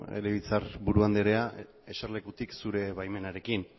legebiltzarburu anderea jesarlekutik zure baimenarekin